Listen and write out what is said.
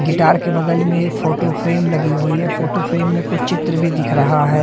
Guitar की बगल में एक फोटो फ्रेम लगी हुई है फोटो फ्रेम में कुछ चित्र भी दिख रहा है।